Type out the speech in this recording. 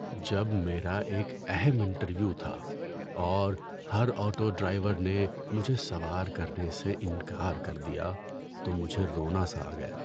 جب میرا ایک اہم انٹرویو تھا اور ہر آٹو ڈرائیور نے مجھے سوار کرنے سے انکار کر دیا تو مجھے رونا سا آ گیا۔